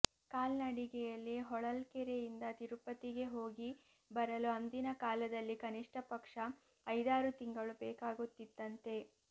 ಕಾಲ್ನಡಿಗೆಯಲ್ಲಿ ಹೊಳಲ್ಕೆರೆಯಿಂದ ತಿರುಪತಿಗೆ ಹೋಗಿ ಬರಲು ಅಂದಿನ ಕಾಲದಲ್ಲಿ ಕನಿಷ್ಟ ಪಕ್ಷ ಐದಾರು ತಿಂಗಳು ಬೇಕಾಗುತ್ತಿತ್ತಂತೆ